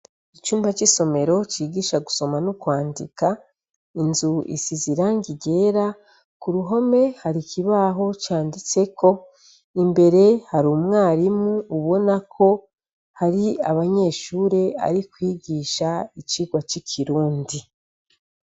Icumba c'isomero cigisha gusoma n'kwandika inzu isi ziranga igera ku ruhome hari ikibaho canditseko imbere hari umwarimu ubona ko hari abanyeshure ari kwigisha icirwa c'ikirundi.